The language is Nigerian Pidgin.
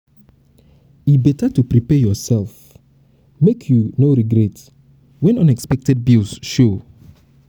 e better to to prepare yoursef make you no regret when unexpected bills show.